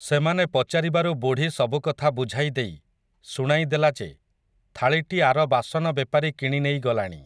ସେମାନେ ପଚାରିବାରୁ ବୁଢ଼ୀ ସବୁକଥା ବୁଝାଇଦେଇ, ଶୁଣାଇଦେଲା ଯେ, ଥାଳିଟି ଆର ବାସନ ବେପାରୀ କିଣିନେଇ ଗଲାଣି ।